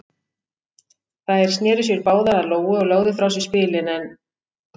Þær sneru sér báðar að Lóu og lögðu frá sér spilin en